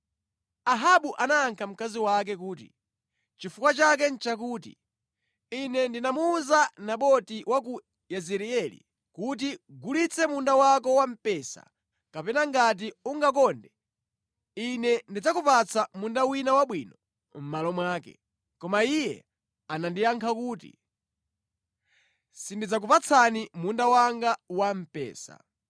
Ahabu anayankha mkazi wake kuti, “Chifukwa chake nʼchakuti ine ndinamuwuza Naboti wa ku Yezireeli kuti, ‘Gulitse munda wako wa mpesa kapena ngati ungakonde ine ndidzakupatsa munda wina wabwino mʼmalo mwake.’ Koma iye anandiyankha kuti, ‘Sindidzakupatsani munda wanga wa mpesa.’ ”